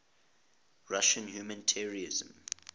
russian humanitarians